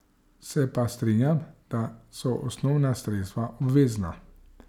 Se pa strinjam, da so osnovna sredstva obvezna.